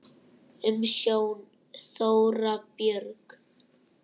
Umsjón: Þóra Björg.